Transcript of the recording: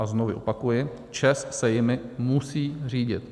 A znovu opakuji, ČEZ se jimi musí řídit.